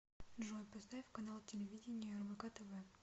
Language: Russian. джой поставь канал телевидения рбк тв